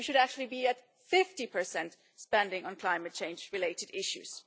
We should actually be at 50 spending on climate change related issues.